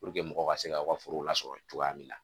Puruke mɔgɔw ka se ka o ka forow lasɔrɔ yen cogoya min na.